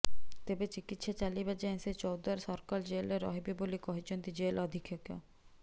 ତେବେ ଚିକିତ୍ସା ଚାଲିବା ଯାଏଁ ସେ ଚୌଦ୍ୱର ସର୍କଲ ଜେଲରେ ରହିବେ ବୋଲି କହିଛନ୍ତି ଜେଲ ଅଧିକ୍ଷକ